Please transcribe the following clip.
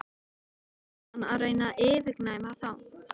Svo fór hann að reyna að yfirgnæfa þá.